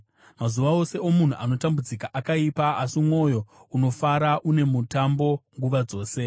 Mazuva ose omunhu anotambudzika akaipa, asi mwoyo unofara une mutambo nguva dzose.